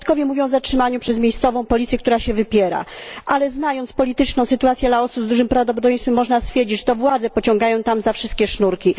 Świadkowie mówią o zatrzymaniu przez miejscową policję, która się wypiera, ale znając polityczną sytuację Laosu, z dużym prawdopodobieństwem można stwierdzić, że to władze pociągają tam za wszystkie sznurki.